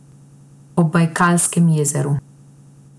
Ob Bajkalskem jezeru.